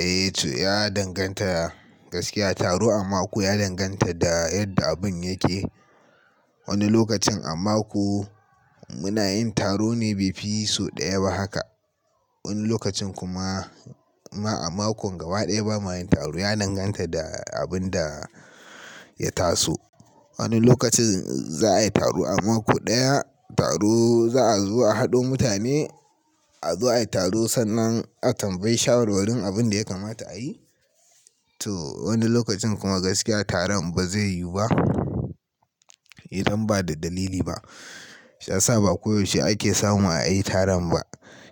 Eh to ya danganta gaskiya. Taro a mako ya danganta da yadda abin yake. Wani lokacin a mako muna yin taro ne bai fi sau ɗaya ba haka. Wani lokacin kuma ma a makon gaba ɗaya ba mayin taro. Ya danganta da abin da ya taso. Wani lokacin za a yi taro a mako ɗaya. Taro za a zo a haɗo mutane, a zo ayi taro sannan a tambayi shawarwarin abin da ya kamata a yi. To wani lokacin kuma gaskiya taron ba zai yu ba. Idan ba da dalili ba. Shiya saba koyaushe ake samu a yi taron ba.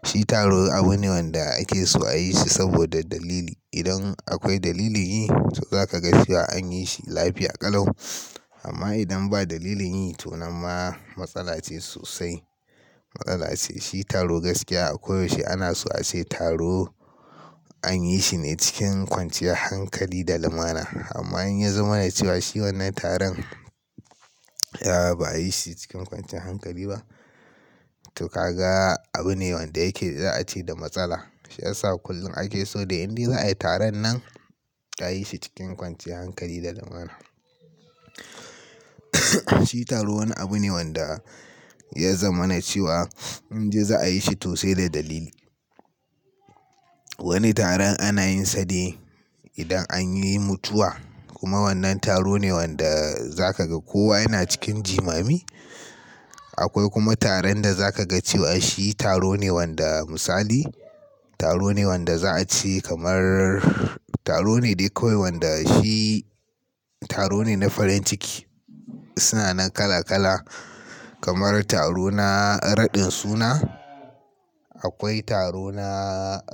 Shi taro abu ne wanda ake so a yi shi saboda dalili. Idan akwai dalilin yi, to zaka ga shi an yi shi lafiya ƙalau. Amma idan ba dalilin yi to nan ma matsala ce sosai. Matsala ce. Shi taro gaskiya a koyaushe ana so a ce taro an yi shine cikin kwanciyar hankali da lumana. Amma in ya zama ne cewa shi wannan taron ya ba a yi shi cikin kwanciyar hankali ba, to ka ga abu ne wanda yake za a ce da matsala. Shiya sa kullum ake so da indai za a yi taron nan a yi shi cikin kwanciyar hankali da lumana. Shi taro wani abu ne wanda ya zama na cewa idan za a yi shi to sai da dalili. Wani taron ana yin sa ne idan anyi mutuwa. Kuma wannan taro ne wanda za ka ga kowa yana cikin jimami. Akwai kuma taron da za ka ga cewa shi taro ne wanda misali, taro ne wanda za a ci kamar taro ne dai kawai wanda shi taro ne na farin ciki. Suna nan kala kala. Kamar taro na raɗin suna, akwai taro na,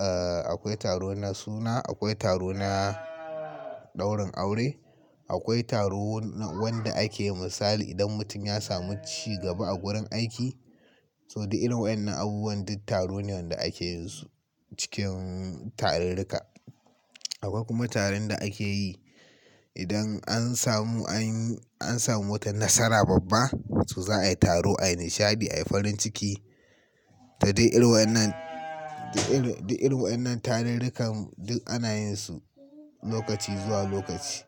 eh akwai taro na suna, akwai taro na daurin aure, akwai taro wanda ake misali idan mutum ya samu cigaba a gurin aiki. To dai irin wa innan abubuwan duk taro ne wanda ake yin su cikin tarurruka. Akwai kuma taron da ake yi idan an samu anyi, an samu wata nasara babba. To za a yi taro, a yi nishadi, a yi farin ciki. To dai irin wa innan, duk irin, duk irin wa innan tarurrukan duk ana yin su lokaci zuwa lokaci.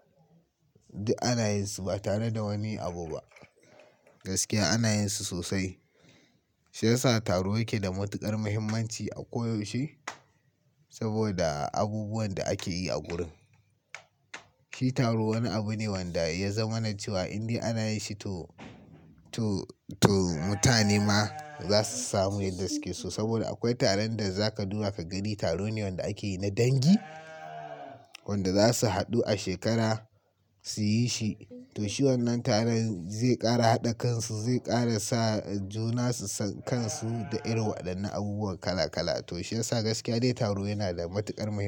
Duk ana yin su ba tare da wani abu ba. Gaskiya ana yin su sosai. Shiya sa taro yake da matuƙar muhimmanci a koyaushe saboda abubuwan da ake yi a gurin. Shi taro wani abu ne wanda ya zama na cewa indai ana yi shi to, to, to mutane ma za su samu yadda suke so. Saboda akwai taron da zaka duba ka gani. Taro ne wanda ake yi na dangi wanda za su haɗu a shekara su yi shi. To shi wannan taron zai ƙara haɗa kansu, zai ƙara sa juna su san kansu da irinwa dannan abubuwan kala kala. To shi yasa gaskiya dai taro yana da matuƙar muhimmanci.